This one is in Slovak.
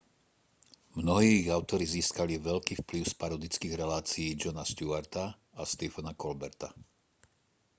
mnohí ich autori získali veľký vplyv z parodických relácií jona stewarta a stephena colberta